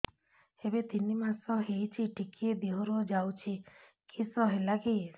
ଏବେ ତିନ୍ ମାସ ହେଇଛି ଟିକିଏ ଦିହରୁ ଯାଉଛି କିଶ ହେଲାକି